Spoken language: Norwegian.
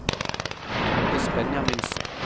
Tordis Benjaminsen